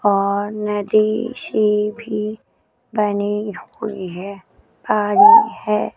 और नदी सी भी बनी हुई है पानी है।